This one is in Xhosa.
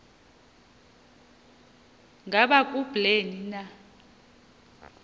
ngaba kubleni na